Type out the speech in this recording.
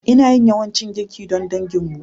Ina yin yawancin girki don danginmu.